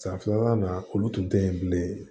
San filanan olu tun tɛ yen bilen